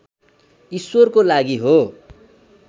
ईश्वरको लागि हो